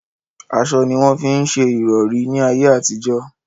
Aṣọ ní wọ́n fí ń se ìrọ̀rí ní ayé àtijọ́.